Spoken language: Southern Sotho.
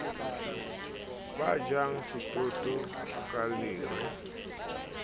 ba jang setoto ka lere